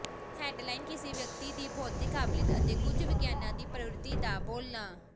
head line ਕਿਸੇ ਵਿਅਕਤੀ ਦੀ ਬੌਧਿਕ ਕਾਬਲੀਅਤ ਅਤੇ ਕੁਝ ਵਿਗਿਆਨਾਂ ਦੀ ਪ੍ਰਵਿਰਤੀ ਦਾ ਬੋਲਣਾ